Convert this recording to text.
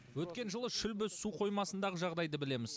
өткен жылы шүлбі су қоймасындағы жағдайды білеміз